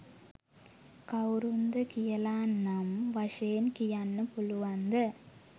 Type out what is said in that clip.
කවුරුන්ද කියලා නම් වශයෙන් කියන්න පුළුවන්ද?